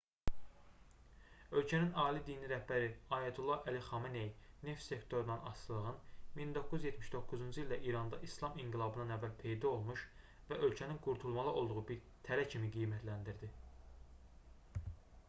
ölkənin ali dini rəhbəri ayətullah əli xamenei neft sektorundan asılılığın 1979-cu ildə i̇randa i̇slam inqilabından əvvəl peyda olmuş və ölkənin qurtulmalı olduğu bir tələ kimi qiymətləndirdi